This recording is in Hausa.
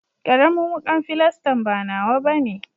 Karamin wukan filastan ba nawa bane.